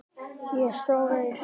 Ég sór eið.